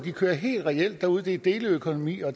kører helt reelt derude at det er deleøkonomi og